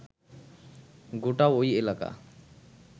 গোটা ঐ এলাকা